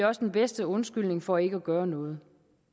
også den bedste undskyldning for ikke at gøre noget